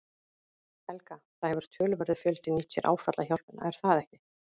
Helga: Það hefur töluverður fjöldi nýtt sér áfallahjálpina er það ekki?